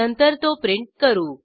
नंतर तो प्रिंट करू